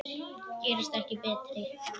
Gerast ekki betri.